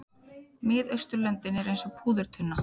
Miðausturlöndin eru eins og púðurtunna.